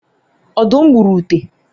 ọdum gburu ute